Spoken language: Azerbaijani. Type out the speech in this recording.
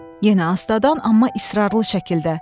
Yenə astadan amma israrlı şəkildə.